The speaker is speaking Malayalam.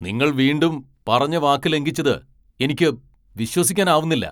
നിങ്ങൾ വീണ്ടും പറഞ്ഞ വാക്ക് ലംഘിച്ചത് എനിക്ക് വിശ്വസിക്കാനാവുന്നില്ല.